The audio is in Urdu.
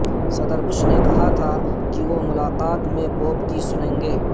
صدر بش نے کہا تھا کہ وہ ملاقات میں پوپ کی سنیں گے